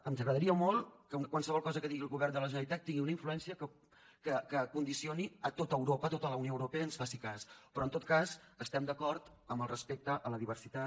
ens agradaria molt que qualsevol cosa que digui el govern de la generalitat tingui una influència que condicioni tot europa que tota la unió europea ens faci cas però en tot cas estem d’acord amb el respecte a la diversitat